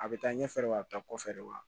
A bɛ taa ɲɛfɛ wa a bɛ taa kɔfɛ de wa